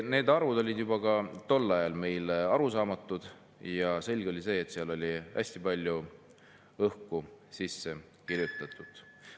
Need arvud olid juba tol ajal meile arusaamatud ja oli selge, et sinna oli hästi palju õhku sisse kirjutatud.